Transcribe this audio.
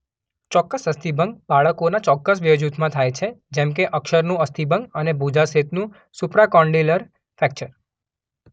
ચોક્કસ અસ્થિભંગ બાળકોના ચોકક્સ વયજૂથમાં થાય છે જેમ કે અક્ષકનું અસ્થિભંગ અને ભુજાસ્થિનું સુપ્રાકોન્ડિલર ફ્રેક્ચર.